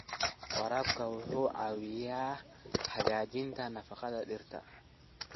Waraabka wuxuu caawiyaa hagaajinta nafaqada dhirta.